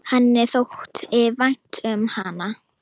Henni þótti vænt um hana.